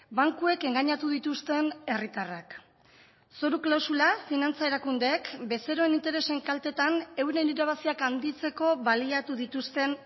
bankuek engainatu dituzten herritarrak zoru klausula finantza erakundeek bezeroen interesen kaltetan euren irabaziak handitzeko baliatu dituzten